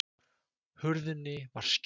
Hurðinni var skellt.